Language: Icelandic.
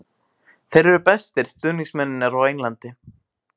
Þeir eru bestu stuðningsmennirnir á Englandi.